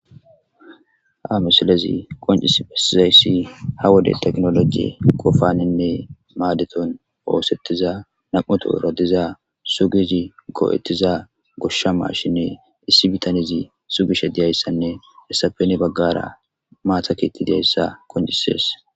Ha misilezi qoncis besizayssi ha wode teknoloji qofaninne maadeton oosettiza nam7uto erodiza sugizi goo7ettiza goshsha mashinne issi bitanizi sugishe diyayssanne hessapeni baggara maatakettideyssa qoncisees.